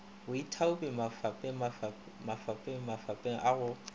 baithaopi mafapeng mafapeng a go